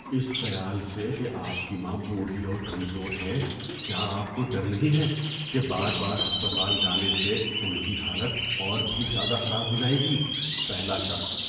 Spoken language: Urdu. اس خیال سے کہ آپ کی ماں بوڑھی اور کمزور ہے، کیا آپ کو ڈر نہیں ہے کہ بار بار ہسپتال جانے سے ان کی حالت اور بھی زیادہ خراب ہو جائے گی؟ (پہلا شخص)